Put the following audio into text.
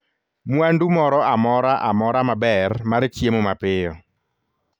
Mwandu moro amora amora maber mar chiemo mapiyo